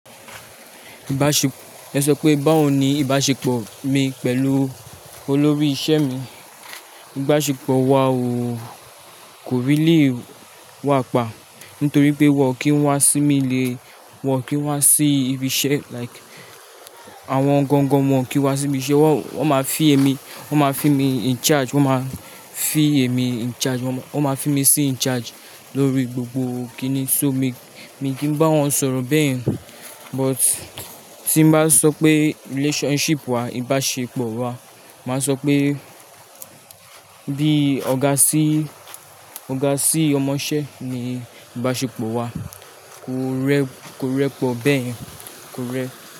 Ìbáṣepọ̀, ẹ sọ pé báwo ni ìbáṣepọ̀ mi pẹ̀lú olórí iṣẹ́ mi? Ìbáṣepọ̀ wa ò, kò rí lè wà pa. Nítorí pé wọ́n kì í wá sí mi lè, wọ́n kì í wá sí ibi iṣẹ́, like, àwọn gangan wọ́n kì í wá sí ibi iṣẹ́. Wọ́n ma fi èmi, wọ́n ma fi mi in charge, wọ́n ma fi èmi in charge, wọ́n ma fi mi sí in charge lórí gbogbo kíni. So mi, mi kì í bá wọn sọ̀rọ̀ bẹ́yẹ̀n. But tí n bá sọ pé relationship wa, ìbáṣepọ̀ wa, màá sọ pé bí ọ̀gá sí, ọ̀gá sí ọmọṣẹ́ ni ìbáṣepọ̀ wa. Kò rẹ, kò rẹpọ bẹ́yẹ̀n, kò rẹ.